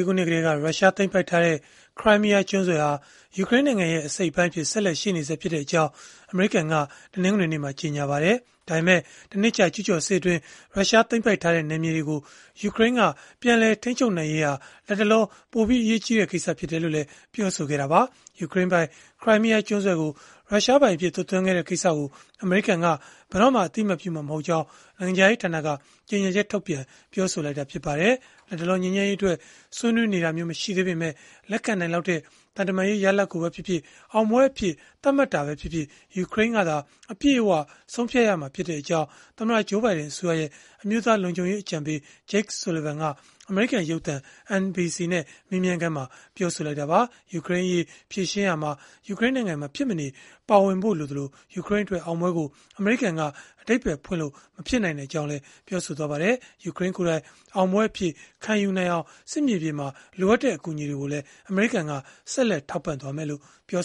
ခုနှစ်ကတည်းက ရုရှားသိမ်းပိုက်ထားတဲ့ ခရိုင်းမီးယားကျွန်းဆွယ်ဟာ ယူကရိန်းနိုင်ငံရဲ့အစိတ်အပိုင်းအဖြစ် ဆက်လက်တည်ရှိနေဆဲဖြစ်ကြောင်း အမေရိကန်က တနင်္ဂနွေနေ့မှာ ကြေညာလိုက်ပါတယ်။ ဒါပေမဲ့လည်း တနှစ်ကြာကျူးကျော်စစ်အတွင်း ရုရှားသိမ်းပိုက်ထားတဲ့ နယ်မြေတွေကို ယူကရိန်းက ပြန်လည်ထိန်းချုပ်နိုင်ရေးဟာ လတ်တလော ပိုအရေးကြီးတဲ့ကိစ္စအဖြစ်နဲ့လည်း ပြောဆိုခဲ့တာပါ။ ယူကရိန်းပိုင် ခရိုင်းမီးယားကျွန်းဆွယ်ကို ရုရှားပိုင်အဖြစ် သွတ်သွင်းခဲ့တဲ့ကိစ္စကို အမေရိကန်က ဘယ်တော့မှအသိအမှတ်ပြုမှာ မဟုတ်ကြောင်း နိုင်ငံခြားရေးဌာနက ကြေညာချက်ထုတ်ပြန် ပြောဆိုခဲ့တာဖြစ်ပါတယ်။ လတ်တလောမှာ ငြိမ်းချမ်းရေးအတွက် ဆွေးနွေးနေတာမျိုးမရှိသေးပေမဲ့ လက်ခံနိုင်လောက်တဲ့ သံတမန်ရေးရလဒ်ကိုပဲဖြစ်ဖြစ်၊ အောင်ပွဲအဖြစ် သတ်မှတ်တာပဲဖြစ်ဖြစ် ယူကရိန်းကသာ အပြည့်အဝဆုံးဖြတ်ရမှာဖြစ်ကြောင်းလည်း သမ္မတ Joe Biden အစိုးရရဲ့ အမျိုးသားလုံခြုံရေးအကြံပေး Jake Sullivan က အမေရိကန်ရုပ်သံ NBC နဲ့ မေးမြန်းခန်းမှာ ပြောဆိုခဲ့တာပါ။ ယူကရိန်းအရေး ဖြေရှင်းရာမှာ ယူကရိန်းနိုင်ငံ မဖြစ်မနေပါဝင်ဖို့လိုသလို အမေရိကန်ကအဓိပ္ပါယ်ဖွင့်လို့ မဖြစ်နိုင်ကြောင်းလည်း ပြောပါတယ်။ ယူကရိန်းကိုယ်တိုင် အောင်ပွဲအဖြစ်ခံယူနိုင်အောင် စစ်မြေပြင်မှာလိုအပ်တဲ့အကူအညီတွေကိုလည်း အမေရိကန်က ဆက်လက်ထောက်ပံ့သွားမယ်လို့ ပြော